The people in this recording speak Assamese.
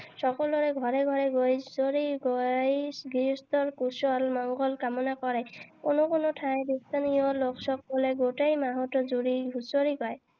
সকলোৰে ঘৰে ঘৰে গৈ হুচৰি গাই গৃহস্থৰ কুশল মঙ্গল কামনা কৰে। কোনো কোনো ঠাইত স্থানীয় লোকসকলে গোটেই মাহ জুৰি হুচৰি গায়।